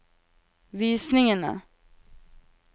visningene